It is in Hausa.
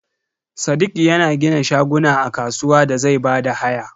Sadiq yana gina shaguna a kasuwa da zai bada haya.